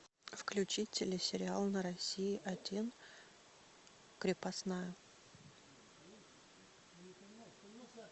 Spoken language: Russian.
включить телесериал на россии один крепостная